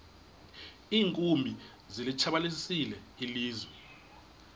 iinkumbi zilitshabalalisile ilizwe